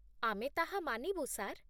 ଆମେ ତାହା ମାନିବୁ, ସାର୍